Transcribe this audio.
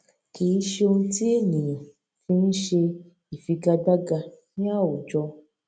kì í ṣe ohun tí ènìyàn fi n ṣe ìfigagbága ní àwùjọ